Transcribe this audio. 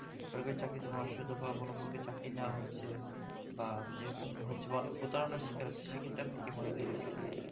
কারো কারো চাকরি হওয়ার সাথে কারো কারো চাকরি না হচ্ছে বা এ রকম হচ্ছে বা অনেকে প্রতারণার শিকার হচ্ছে সে ক্ষেতের আমি কি মনে করবো